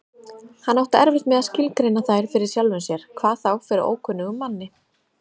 Hann átti erfitt með að skilgreina þær fyrir sjálfum sér, hvað þá fyrir ókunnugum manni.